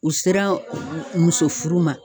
U sera muso furu ma.